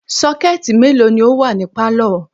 Sọ́kẹ̀tì mélòó ni ó wà ní pálọ̀?